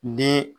Ni